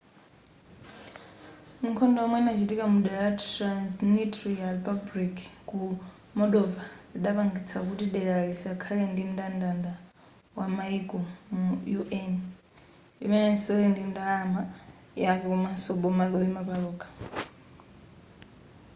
nkhondo yomwe inachitika mu dera la transnitria republic ku moldova lidapangitsa kuti delali lisakhale pa mndandanda wa mayiko mu un limenenso lili ndi ndalama yake komanso boma loyima palokha